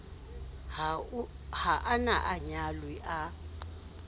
ha a na anyalwe a